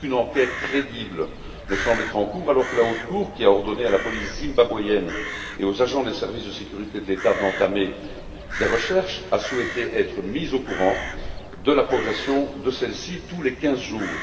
Aucune enquête crédible ne semble être en cours alors que la Haute Cour, qui a ordonné à la police zimbabwéenne et aux agents des services de sécurité de l'État d'entamer des recherches, a souhaité être mise au courant de la progression de celles ci tous les quinze jours.